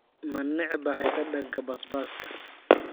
Ma necbahay dhadhanka basbaaska?